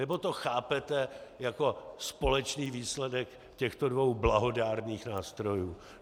Nebo to chápete jako společný výsledek těchto dvou blahodárných nástrojů?